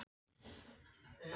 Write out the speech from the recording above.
Ekki eruð þið að tala um mig?